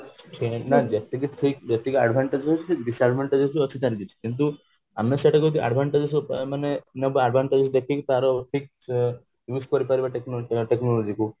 ଯେତିକି ଠିକ ଯେତିକି advantage ହୋଉଛି ସେତିକି disadvantage ବି ଅଛି ତାର କିଛି କିନ୍ତୁ ଆମେ ସେଟାକୁ ଯଦି advantage ମାନେ ଯେତିକି ତାର ଠିକ use କରିପାରିବ technology କୁ